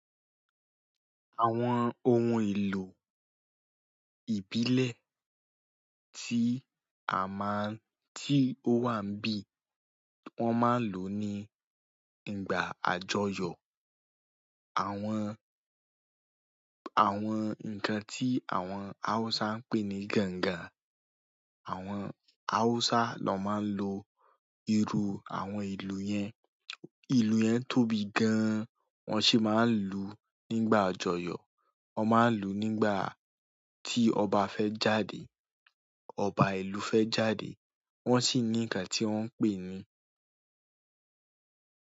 Àwọn ohun èlò ìbílẹ̀ tí a máà ń-- tí ó wà bí wọ́n máa ń lò ní ìgbà àjọyọ̀. Àwọn, àwọn nǹkan tí àwọn Hausa ń pè ní ganga, àwọn Hausa lọ́ máa ń lo irú àwọn ìlù yẹn. Ìlù yẹn tóbi gan-an, wọn sì máa ń lùú nígbà àjọyọ̀. Wọ́n máa ń lùú nígbà tí ọba fẹ́ jáde, ọba ìlú fẹ́ jáde. Wọn sì ní nǹkan tí wọ́n ń pè ní.